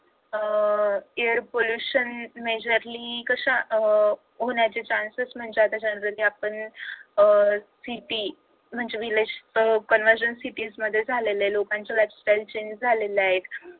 अह air pollution majorly कशा uh होण्याचे chances म्हणता येतील तर साधारण आपण अह city म्हणजे village convergence city मध्ये झालेलं आहे लोकांचं lifestyle change झालेलं आहे.